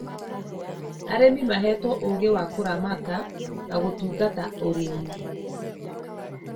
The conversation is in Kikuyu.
Arĩmi mahetwo ũgĩ wa kũramata na gũtungata ũrĩmi